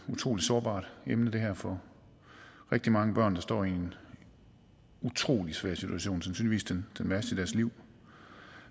utrolig sårbart emne for rigtig mange børn der står i en utrolig svær situation sandsynligvis den værste i deres liv